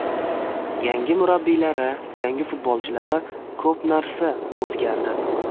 Yangi murabbiylari, yangi futbolchilari ko‘p narsa o‘zgardi.